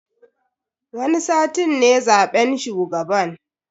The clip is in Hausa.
Wani satin ne zaben shugaban.